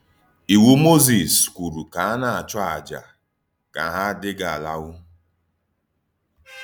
Ìwù Mózìs kwùrù ka a na-àchù àjà kà hà dị́gá àlàáhù.